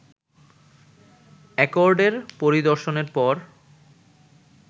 অ্যাকর্ডের পরিদর্শনের পর